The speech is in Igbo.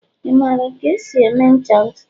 Ị maara ka esi eme ncha ntutu?